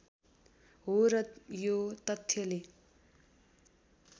हो र यो तथ्यले